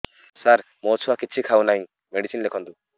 ସାର ମୋ ଛୁଆ କିଛି ଖାଉ ନାହିଁ ମେଡିସିନ ଲେଖନ୍ତୁ